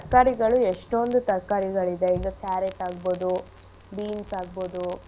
ತರ್ಕಾರಿಗಳು ಎಷ್ಟೊಂದು ತರ್ಕಾರಿಗಳು ಇದೆ ಈಗ carrot ಆಗ್ಬೋದು beans ಆಗ್ಬೋದು.